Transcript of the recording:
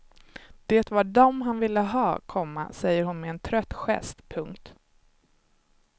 Det var dem han ville ha, komma säger hon med en trött gest. punkt